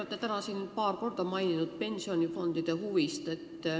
Te olete täna siin paar korda maininud pensionifondide võimalikku huvi asja vastu.